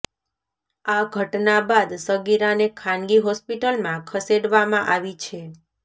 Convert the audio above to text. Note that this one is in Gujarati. આ ઘટના બાદ સગીરાને ખાનગી હોસ્પિટલમાં ખસેડવામાં આવી છે